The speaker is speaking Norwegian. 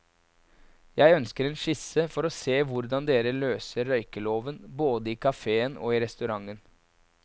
Jeg ønsker en skisse for å se hvordan dere løser røykeloven både i kaféen og i restauranten.